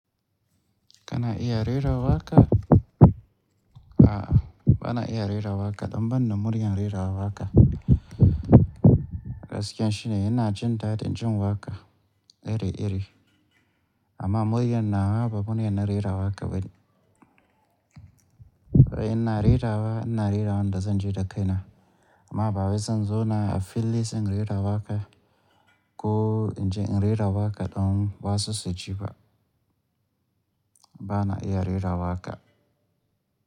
Kana iya rera waƙa? A'a, bana iya rera waƙa. Ɗan ban da muryar rera waƙa. Gaskiya shine ina jin dadin jin waƙa iri-iri, amma muryar nawa ba murya na rera waƙa bane. Ina rera wa, ina rera wanda zan ji da kaina, amma ba wai zan zona a fili sai in rera waƙa ko in je in rera waƙa dan wa su su ji ba. Bana iya rera waƙa.